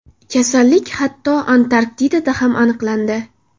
Kasallik hatto, Antarktidada ham aniqlandi .